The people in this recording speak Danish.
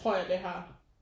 Tror jeg det har